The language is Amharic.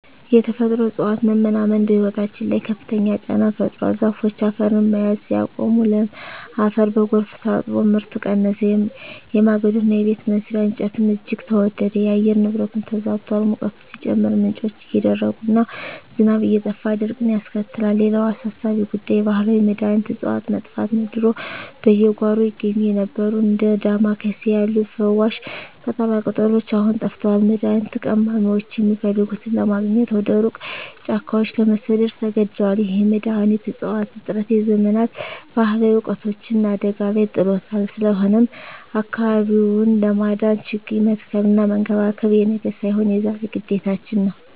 የተፈጥሮ እፅዋት መመናመን በሕይወታችን ላይ ከፍተኛ ጫና ፈጥሯል። ዛፎች አፈርን መያዝ ሲያቆሙ፣ ለም አፈር በጎርፍ ታጥቦ ምርት ቀነሰ፤ የማገዶና የቤት መስሪያ እንጨትም እጅግ ተወደደ። የአየር ንብረቱም ተዛብቷል፤ ሙቀቱ ሲጨምር፣ ምንጮች እየደረቁና ዝናብ እየጠፋ ድርቅን ያስከትላል። ሌላው አሳሳቢ ጉዳይ የባህላዊ መድኃኒት እፅዋት መጥፋት ነው። ድሮ በየጓሮው ይገኙ የነበሩት እንደ ዳማ ኬሴ ያሉ ፈዋሽ ቅጠላቅጠሎች አሁን ጠፍተዋል፤ መድኃኒት ቀማሚዎችም የሚፈልጉትን ለማግኘት ወደ ሩቅ ጫካዎች ለመሰደድ ተገደዋል። ይህ የመድኃኒት እፅዋት እጥረት የዘመናት ባህላዊ እውቀታችንን አደጋ ላይ ጥሎታል። ስለሆነም አካባቢውን ለማዳን ችግኝ መትከልና መንከባከብ የነገ ሳይሆን የዛሬ ግዴታችን ነው።